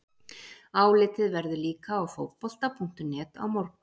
Álitið verður líka á Fótbolta.net á morgun!